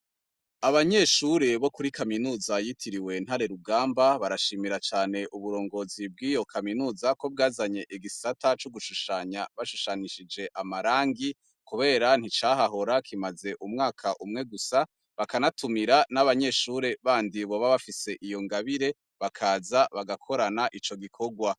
Abanyeshure bo kuri kaminuza yitiriwe Ntare rugamba, barashimira cane uburongozi bw'iyo kaminuza ko bwazanye igisata co gushushanya bashushanishije amarangi, kubera nticahahora kimaze umwaka umwe gusa, bakanatumira n'abanyeshure bandi boba bafise iyo ngabire, bakaza bagakorana ico gikorwa.